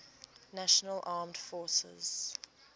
national armed forces